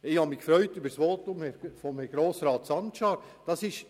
Ich habe mich über das Votum von Grossrat Sancar gefreut.